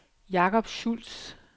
Jacob Schulz